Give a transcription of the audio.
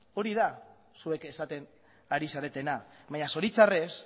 hori da zuek esaten ari zaretena baina zoritxarrez